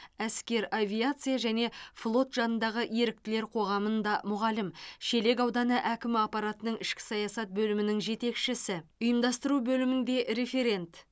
әскер авиация және флот жанындағы еріктілер қоғамында мұғалім шелек ауданы әкім аппаратының ішкі саясат бөлімінің жетекшісі ұйымдастыру бөілмінде референт